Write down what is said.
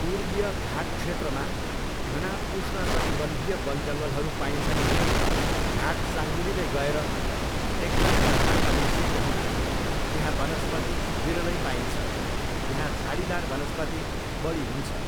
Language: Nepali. पूर्वीय घाट क्षेत्रमा घना उष्णकटिबन्धीय बनजङ्गलहरू पाइन्छन् भने, घाट साँगुरिँदै गएर डेक्कन पठारमा मिसिएको हुँदा यहाँ वनस्पति विरलै पाइन्छ, यहाँ झाडीदार वनस्पति बढी हुन्छ।